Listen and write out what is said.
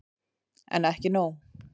En ekki nóg.